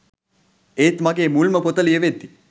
ඒත් ‍මගේ මුල්ම පොත ලියවෙද්දි